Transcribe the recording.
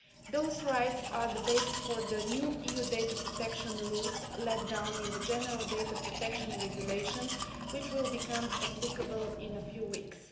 Those rights are the basis for the new EU data protection rules laid down in the General Data Protection Regulation, which will become applicable in a few weeks.